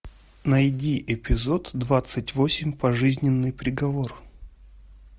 найди эпизод двадцать восемь пожизненный приговор